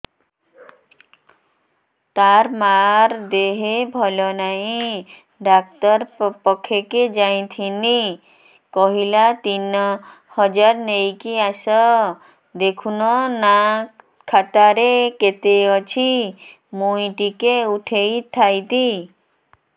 ତାର ମାର ଦେହେ ଭଲ ନାଇଁ ଡାକ୍ତର ପଖକେ ଯାଈଥିନି କହିଲା ତିନ ହଜାର ନେଇକି ଆସ ଦେଖୁନ ନା ଖାତାରେ କେତେ ଅଛି ମୁଇଁ ଟିକେ ଉଠେଇ ଥାଇତି